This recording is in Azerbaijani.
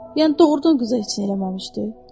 Yəni doğrudan qıza heç nə eləməmişdi?